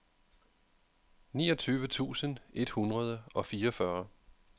niogtyve tusind et hundrede og fireogfyrre